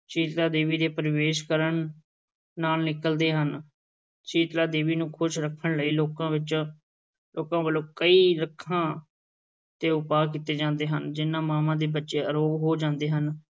ਸੀਤਲਾ ਦੇਵੀ ਦੇ ਪ੍ਰਵੇਸ਼ ਕਰਨ ਨਾਲ ਨਿਕਲਦੇ ਹਨ, ਸੀਤਲਾ ਦੇਵੀ ਨੂੰ ਖ਼ੁਸ਼ ਰੱਖਣ ਲਈ ਲੋਕਾਂ ਵਿੱਚ, ਲੋਕਾਂ ਵੱਲੋਂ ਕਈ ਰੱਖਾਂ ਤੇ ਉਪਾਅ ਕੀਤੇ ਜਾਂਦੇ ਹਨ, ਜਿਨ੍ਹਾਂ ਮਾਂਵਾਂ ਦੇ ਬੱਚੇ ਅਰੋਗ ਹੋ ਜਾਂਦੇ ਹਨ,